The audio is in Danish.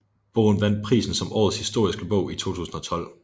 Bogen vandt prisen som Årets Historiske Bog i 2012